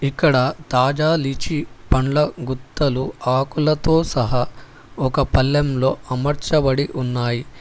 ఇక్కడ తాజా లిచి పండ్ల గుత్తలు ఆకులతో సహా ఒక పల్లెంలొ అమర్చబడి ఉన్నాయ్.